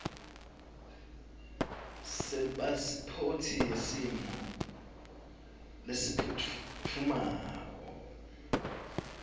sepasiphothi yesimo lesiphutfumako